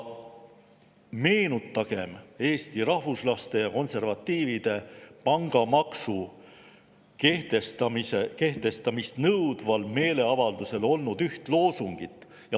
Meenutagem üht loosungit Eesti Rahvuslaste ja Konservatiivide meeleavalduselt, kus nõuti pangamaksu kehtestamist.